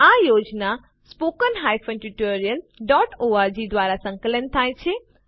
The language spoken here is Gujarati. આ યોજના httpspoken tutorialorg દ્વારા સંકલન થાય છે